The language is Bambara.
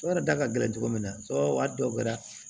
da ka gɛlɛn cogo min na a dagoyara